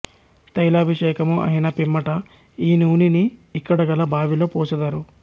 తైలాభిషేకము అయిన పిమ్మట ఈ నూని ని ఇక్కడ గల బావి లో పోసెదరు